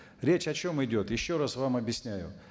речь о чем идет еще раз вам объясняю